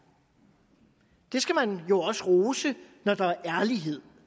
man jo også rose når der er ærlighed